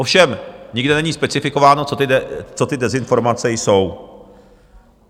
Ovšem nikde není specifikováno, co ty dezinformace jsou.